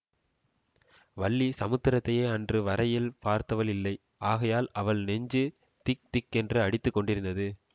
வள்ளி சமுத்திரத்தையே அன்று வரையில் பார்த்தவள் இல்லை ஆகையால் அவள் நெஞ்சு திக்திக்கென்று அடித்து கொண்டிருந்தது